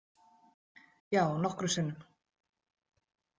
Já, nokkrum sinnum.